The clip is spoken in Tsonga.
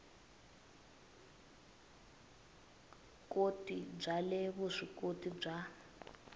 ikoti bya le vuswikoti bya